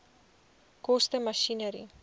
koste masjinerie